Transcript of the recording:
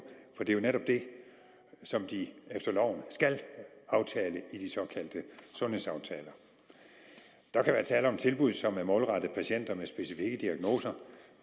for det er jo netop det som de efter loven skal aftale i de såkaldte sundhedsaftaler der kan være tale om tilbud som er målrettet patienter med specifikke diagnoser